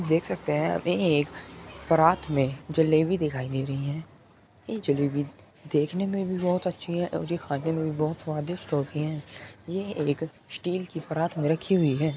देख सकते हैं यहाँ पे एक परात में जलेबी दिखाई दे रही हैं। ये जलेबी देखने में भी बोहोत अच्छी हैं और खाने में भी बोहोत स्वादिष्ट होती हैं। ये एक स्टील की परात में रखी हुई हैं।